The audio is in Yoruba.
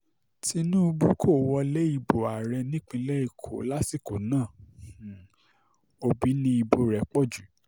tinubu um kò wọlé ìbò ààrẹ nípínlẹ̀ èkó lásìkò náà um òbí ni ìbò rẹ̀ pọ̀ jù